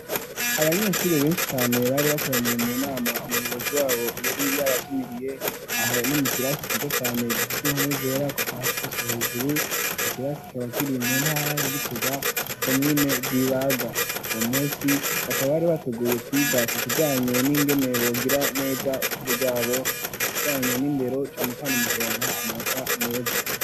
Abanyeshuri benshi cane bari bakoraniye mu nama umuyobozi wabo yari yabatumiriye aho ni mu kirasi ciza cane gifise inkome zera kupasi guswa hejuru ico kirasi kikaba kiri mu ntara ya Gitega komine rw'ibaga wo munsi bakaba bari bateguye kwiga ku kijanye n'ingene bogira neza ishuri ryabo mu kijanye n'indero cane cane mu kuronka amanota meza.